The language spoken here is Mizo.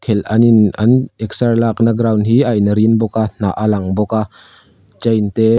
el an in an exer lakna ground hi a in rin bawk a hnah a lang bawk a chain te--